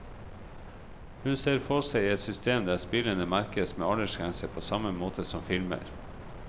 Hun ser for seg et system der spillene merkes med aldersgrense på samme måte som filmer.